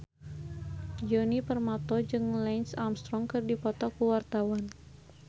Djoni Permato jeung Lance Armstrong keur dipoto ku wartawan